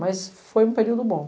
Mas foi um período bom.